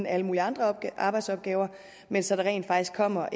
alle mulige andre arbejdsopgaver men så der rent faktisk kommer